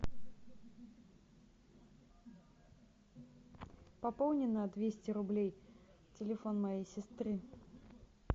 пополни на двести рублей телефон моей сестры